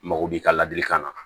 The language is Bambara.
Mago b'i ka ladilikan na